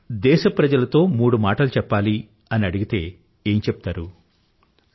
మీరు దేశప్రజలతో మూడు మాటలు చెప్పాలి అని అడిగితే ఏం చెప్తారు